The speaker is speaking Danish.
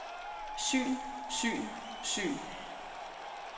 syn syn syn